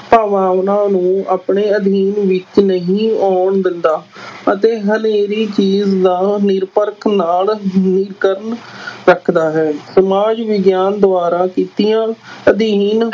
ਭਾਵਨਾਵਾਂ ਨੂੰ ਆਪਣੇ ਅਧਿਐਨ ਵਿਚ ਨਹੀਂ ਆਉਣ ਦਿੰਦਾ ਅਤੇ ਹਨੇਰੀ ਚੀਜ਼ ਦਾ ਨਿਰਪੱਖ ਨਾਲ ਨਿਰੀਖਣ ਰੱਖਦਾ ਹੈ, ਸਮਾਜ ਵਿਗਿਆਨ ਦੁਆਰਾ ਕੀਤੀਆਂ ਅਧਿਐਨ